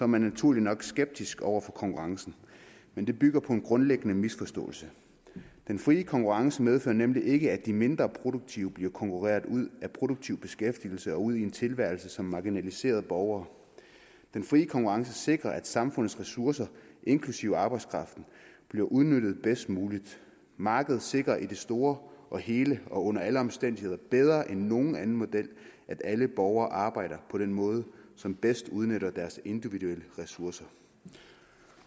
man naturligt nok skeptisk over for konkurrencen men det bygger på en grundlæggende misforståelse den frie konkurrence medfører nemlig ikke at de mindre produktive bliver konkurreret ud af produktiv beskæftigelse og ud i en tilværelse som marginaliserede borgere den frie konkurrence sikrer at samfundets ressourcer inklusive arbejdskraften bliver udnyttet bedst muligt markedet sikrer i det store og hele og under alle omstændigheder bedre end nogen anden model at alle borgere arbejder på den måde som bedst udnytter deres individuelle ressourcer